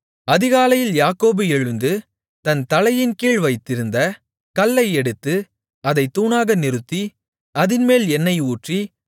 அதிகாலையில் யாக்கோபு எழுந்து தன் தலையின்கீழ் வைத்திருந்த கல்லை எடுத்து அதைத் தூணாக நிறுத்தி அதின்மேல் எண்ணெய் ஊற்றி